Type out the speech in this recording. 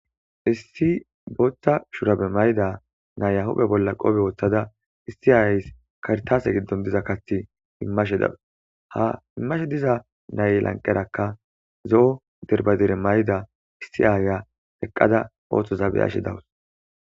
Issi booththa shurabe mayda nayahude bolla qobe woththada issi aays kartaase giddon diza kathi immashe dawus haimmashe diza nay lanqerakka zo'o derbadire may'da issi aaya eqqada ooththo zabeyashe dawus.